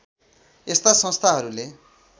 यस्ता संस्थाहरूले